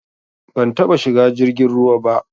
Ban taba shiga jirgin ruwa ba